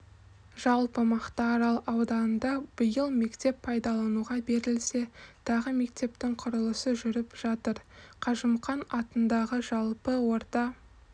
жалпы мақтаарал ауданында биыл мектеп пайдалануға берілсе тағы мектептің құрылысы жүріп жатыр қажымұқан атындағы жалпы орта